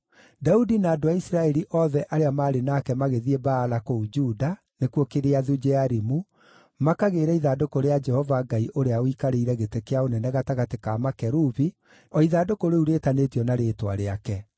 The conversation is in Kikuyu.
Daudi na andũ a Isiraeli othe arĩa maarĩ nake magĩthiĩ Baala kũu Juda (nĩkuo Kiriathu-Jearimu) makagĩĩre ithandũkũ rĩa Jehova Ngai ũrĩa ũikarĩire gĩtĩ kĩa ũnene gatagatĩ ka makerubi, o ithandũkũ rĩu rĩĩtanĩtio na Rĩĩtwa rĩake.